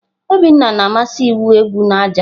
Obinna na-amasị igwu egwu na aja.